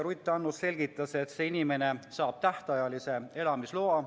Ruth Annus selgitas, et see inimene saab tähtajalise elamisloa.